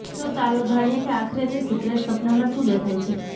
તો ચાલો જાણીએ કે આખરે તે સિક્રેટ સપનામાં શું દેખાય છે